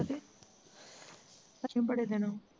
ਅਜੇ ਬੜੇ ਦਿਨੋ